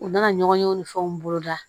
U nana ɲɔgɔn ye o ni fɛnw boloda